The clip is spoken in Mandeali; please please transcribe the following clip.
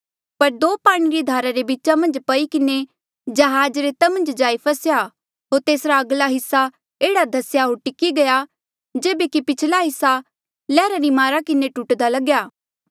पर दो पाणी री धारा रे बीचा मन्झ पई किन्हें जहाज रेता मन्झ जाई फस्सेया होर तेसरा अगला हिस्सा एह्ड़ा धस्या होर टिकी गया जेबे कि पिछला हिस्सा लैहरा री मारा किन्हें टूटदा लग्या